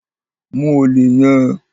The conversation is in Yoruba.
Mu olè yẹn!